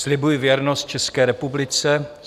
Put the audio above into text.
"Slibuji věrnost České republice.